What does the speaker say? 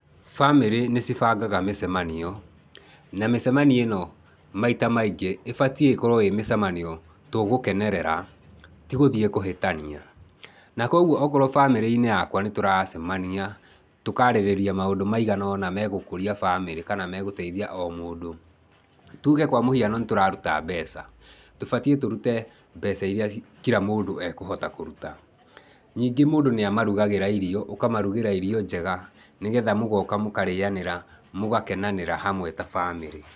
Bamĩrĩ nĩ cibangaga mĩcemanio, na mĩcemanio ĩno maita maingĩ ĩbatiĩ ĩkorwo ĩ mĩcemanio tũgũkenerera, ti gũthiĩ kũhĩtania. Na kwoguo okorwo bamĩrĩ-inĩ yakwa nĩ tũracemania, tũkaarĩrĩria maũndũ maigana ũna megũkũria bamĩrĩ kana megũteithia o mũndũ. Tuge kwa mũhiano nĩ tũraruta mbeca, tũbatiĩ tũrute mbeca iria kira mũndũ ekũhota kũruta. Nyingĩ mũndũ nĩamarugagĩra irio, ũkamarugĩra irio njega nĩgetha mũgoka mũkarĩanĩra mũgakenanĩra hamwe ta bamĩrĩ.